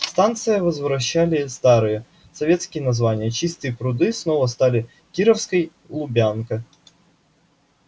станциям возвращали старые советские названия чистые пруды снова стали кировской лубянка